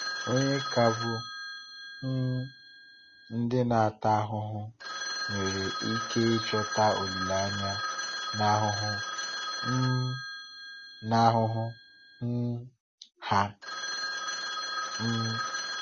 Ọ̀nye ka bụ um ndị a na-ata ahụhụ nwere ike ịchọta olileanya n’ahụhụ um n’ahụhụ um ha? um